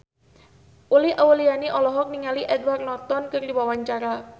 Uli Auliani olohok ningali Edward Norton keur diwawancara